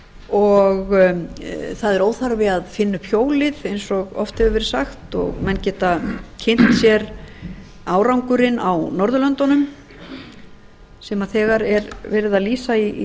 hreyfiseðlarnir eru það er óþarfi að eina upp hjólið eins og oft hefur verið sagt og menn geta kynnt sér árangurinn á norðurlöndunum sem þegar er verið að lýsa í